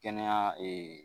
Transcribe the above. Kɛnɛya